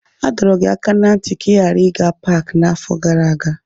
A dọrọ gị aka ná ntị ka ị ghara ịga paaki n'afọ gara aga.